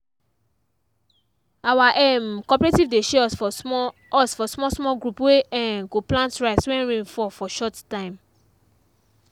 our um cooperative dey share us for small us for small small group wey um go plant rice when rain fall for short time.